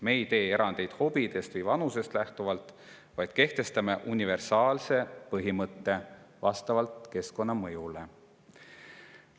Me ei tee erandeid hobidest või vanusest lähtuvalt, vaid kehtestame universaalse põhimõtte vastavalt keskkonnamõjule.